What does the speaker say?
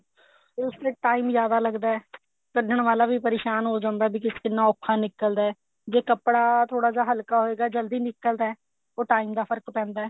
ਉਸ ਤੇ time ਜਿਆਦਾ ਲੱਗਦਾ ਕੱਢਨ ਵਾਲਾ ਵੀ ਪਰੇਸ਼ਾਨ ਹੋ ਜਾਂਦਾ ਵੀ ਕਿੰਨਾ ਔਖਾ ਨਿਕਲਦਾ ਜੇ ਕੱਪੜਾ ਥੋੜਾ ਹਲਕਾ ਹੋਏਗਾ ਤਾਂ ਜਲਦੀ ਨਿਕਲਦਾ ਉਹ time ਦਾ ਫਰਕ ਪੈਂਦਾ